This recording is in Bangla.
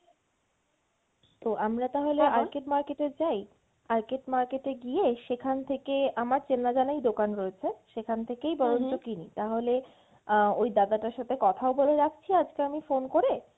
তো আমরা তাহলে arcade market এ যাই? arcade market গিয়ে সেখান থেকে আমার চেনা জানাই দোকান রয়েছে সেখান থেকে বরঞ্চ কিনি তাহলে আহ ওই দাদাটার সাথে কথাও বলে রাখছি আজকে আমি phone করে